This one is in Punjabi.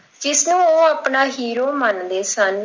ਇਸ ਨੂੰ ਉਹ ਆਪਣਾ hero ਮੰਨਦੇ ਸਨ।